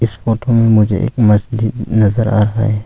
इस फोटो में मुझे एक मस्जिद नजर आ रहा है।